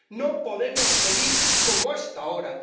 No podemos seguir como hasta ahora.